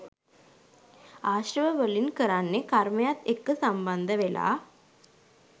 ආශ්‍රව වලින් කරන්නේ කර්මයත් එක්ක සම්බන්ධ වෙලා